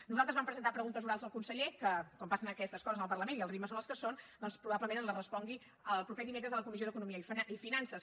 nosaltres vam presentar preguntes orals al conseller que com passa amb aquestes coses en el parlament i els ritmes són els que són doncs probablement ens les respongui el proper dimecres a la comissió d’eco·nomia i finances